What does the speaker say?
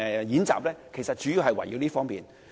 演習的內容主要關乎這些方面。